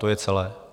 To je celé.